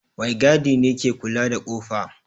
Maigadi ne ke kula da kofa.